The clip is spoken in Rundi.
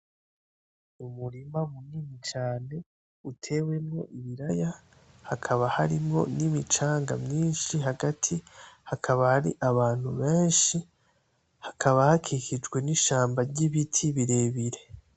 Umurima munini cane utewemo ibiraya hakaba harimwo ni micanga myinshi hagati, hakaba hari abantu benshi hakaba hakikijwe n’inshamba ry'ibiti birebire.